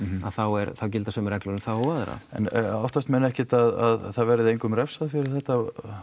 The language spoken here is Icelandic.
þá gilda sömu reglur um þá og aðra en óttast menn ekkert að það verði engum refsað fyrir þetta